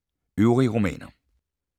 Øvrige romaner